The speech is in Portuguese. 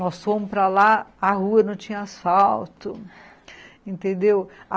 Nós fomos para lá, a rua não tinha asfalto, entendeu?